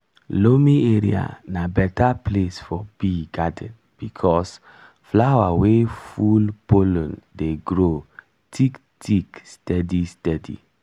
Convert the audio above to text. loamy area na better place for bee garden because flower wey full pollen dey grow thick thick steady steady.